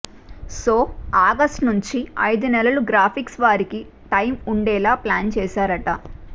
so August నుంచి అయిదునెలలు graphics వారికి టైమ్ వుండేలా ప్లాన్ చేసారట